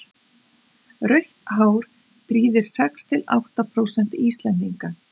rautt hár prýðir sex til átta prósent íslendinga